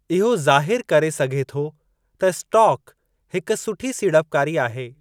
इहो ज़ाहिरु करे सघे थो त स्टाक हिक सुठी सीड़पकारी आहे।